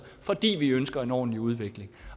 fordi vi ønsker en ordentlig udvikling